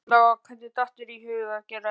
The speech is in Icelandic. Erla: Og hvernig datt þér í hug að gera þetta?